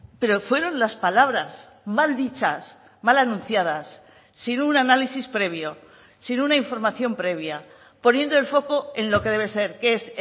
pero fueron las palabras mal dichas mal anunciadas sin un análisis previo sin una información previa poniendo el foco en lo que debe ser que es